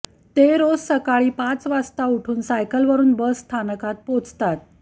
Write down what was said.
ते रोज सकाळी पाच वाजता उठून सायकलवरून बसस्थानकात पोचतात